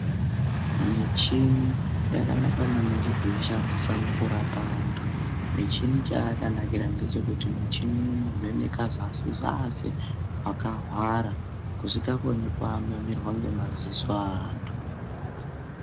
Michini yakanaka maningi kuishandisa mukurapa antu. Michini chayakanakira ngechekuti michini inovheneka zasi-zasi kwakahwara kusingokoni kuananirwa ngemadziso eantu.